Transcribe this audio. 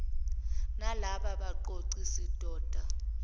nalaba baqoqi sidoda